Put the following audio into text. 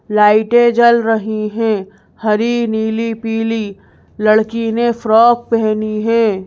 लाइटें जल रही हैं हरी नीली पीली लड़की ने फ्रॉक पहनी है।